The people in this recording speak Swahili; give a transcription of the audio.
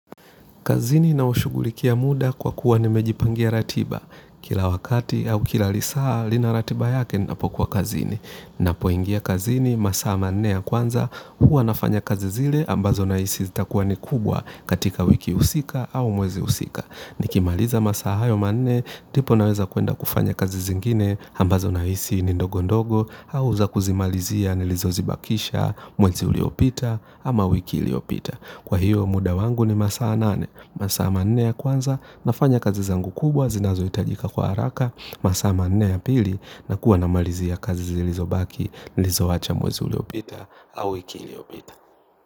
Kazini naushughulikia muda kwa kuwa nimejipangia ratiba. Kila wakati au kila lisaa lina ratiba yake ninapokuwa kazini. Napoingia kazini, masaa manne ya kwanza, huwa nafanya kazi zile ambazo nahisi zitakuwa ni kubwa katika wiki husika au mwezi husika. Nikimaliza masaa hayo manne, ndipo naweza kuenda kufanya kazi zingine ambazo nahisi ni ndogo ndogo, au za kuzimalizia nilizozibakisha mwezi uliopita ama wiki iliyopita. Kwa hiyo muda wangu ni masaa nane, masaa manne ya kwanza, nafanya kazi zangu kubwa, zinazohitajika kwa haraka, masaa manne ya pili, nakuwa namalizia kazi zilizobaki, nilizowacha mwezi uliopita, au wiki iliyopita.